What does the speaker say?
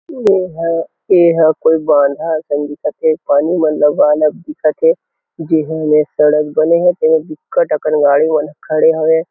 एहा एहा कोई बांधा असन दिखत हे पानी हा लबा लब दिखत हे जीही मेर सड़क बने हे गाड़ी मन बिककट अकन खड़े हे।